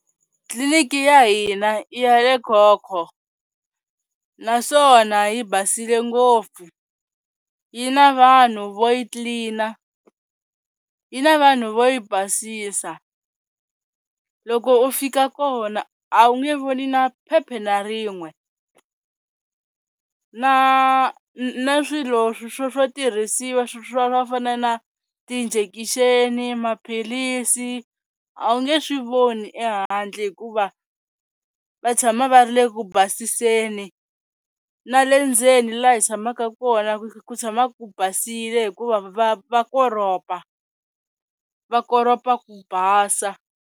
Clinic ya hina i ya le Khokho naswona yi basile ngopfu, yi na vanhu vo yi clean-a, yi na vanhu vo yi basisa. Loko u fika kona a wu nge voni na phepha na rin'we na na swilo swo swo tirhisiwa swa swa ku fana na ti-injection, maphilisi a wu nge swi voni ehandle hikuva va tshama va ri le ku basiseni na le ndzeni laha hi tshamaka kona ku tshama ku basile hikuva va va koropa, va koropa ku basa.